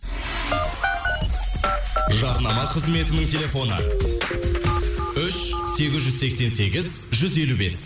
жарнама қызметінің телефоны үш сегіз жүз сексен сегіз жүз елу бес